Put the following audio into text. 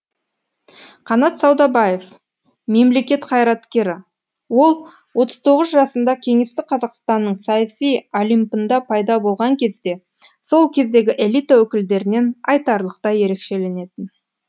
қанат саудабаев мемлекет қайраткері ол отыз тоғыз жасында кеңестік қазақстанның саяси олимпында пайда болған кезде сол кездегі элита өкілдерінен айтарлықтай ерекшеленетін